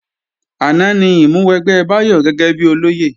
Àná ni ìmúwẹgbẹ́ Báyọ̀ gẹ́gẹ́bí olóyè